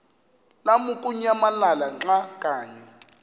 lamukunyamalala xa kanye